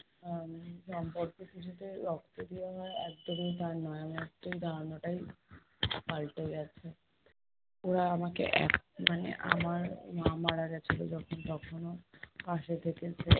আহ সম্পর্ক কি শুধু রক্তেরই হয়? একদমই তা নয়। আমি আজকে এই ধারণাটাই পাল্টে গেছে। ওরা আমাকে, এক~ মানে আমার মা মারা গেছিলো যখন তখনও পাশে থেকেছে